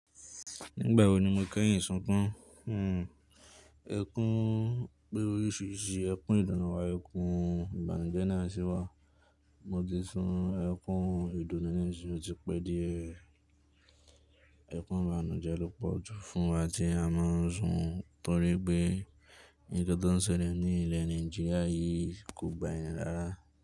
Nígbà wo ni mo kẹ́yìn sunkún? Ẹkún pé oríṣiríṣi ẹkún ìdunu wà, ẹkún ìbànújẹ́ náà sì wà. Mo ti sun ẹkún ìdùnnú náà sí tí pẹ́ díẹ̀. Ẹkún ìbànújẹ́ ló pọ̀ jù fún wa tí a máa ń sùn torí pé nkan tí ó ń ṣẹlẹ̀ ní ilẹ̀ Nigeria yìí kò gba ẹ̀rin rárá.